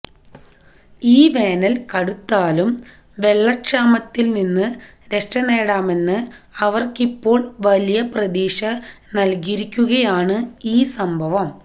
ഈ വേനൽ കടുത്താലും വെള്ളക്ഷാമത്തിൽ നിന്ന് രക്ഷനേടാമെന്ന് അവർക്കിപ്പോൾ വലിയ പ്രതീക്ഷ നൽകിയിരിക്കുകയാണ് ഈ സംഭവം